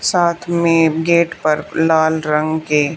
साथ में गेट पर लाल रंग के--